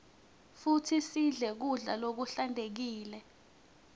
futsi sidle kudla lokuhlantekile